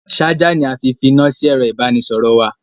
Ṣájà ni a fi fi iná sí ẹ̀ro ìbánisọ̀rọ̀ wa.